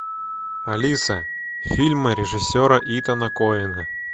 алиса фильмы режиссера итана коэна